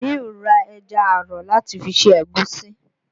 Àlíù ra ẹja àrọ̀ láti fi ṣe ẹ̀gúsí